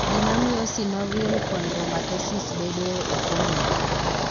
Gima miyo synovial chondromatosis bedoe ok ong'ere.